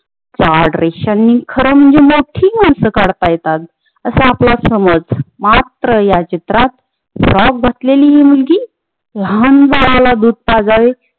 जाड रेषांनी खर म्हणजे मोठी मानस काडत येतात असा आपला समझ मात्र ह्या चित्रात फ्रॉक असलेली हि मुलगी लहान बाळाला दूध पाजावे